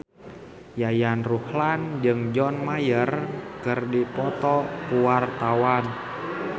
Yayan Ruhlan jeung John Mayer keur dipoto ku wartawan